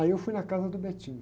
Aí eu fui na casa do.